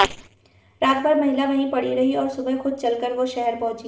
रातभर महिला वहीं पड़ी रही और सुबह खुद चलकर वो शहर पहुंची